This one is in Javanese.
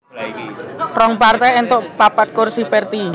Rong partai éntuk papat kursi Perti